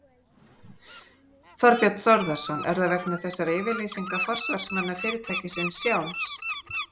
Þorbjörn Þórðarson: Er það vegna þessara yfirlýsinga forsvarsmanna fyrirtækisins sjálfs?